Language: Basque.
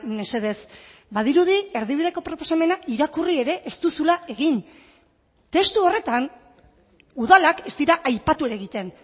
mesedez badirudi erdibideko proposamena irakurri ere ez duzula egin testu horretan udalak ez dira aipatu ere egiten